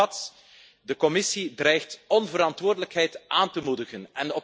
Samengevat De Commissie dreigt onverantwoordelijkheid aan te moedigen.